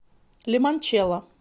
лимончелло